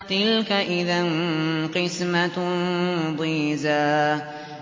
تِلْكَ إِذًا قِسْمَةٌ ضِيزَىٰ